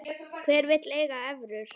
Hver vill eiga evrur?